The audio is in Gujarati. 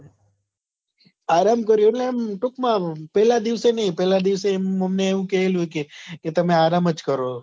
આરામ કર્યો એટલે આમ ટૂંક માં આમ પેલા દિવસે નહિ પેહેલા દિવસે એની મમ્મી એવું કહેલું કે તમે આરામ જ કરો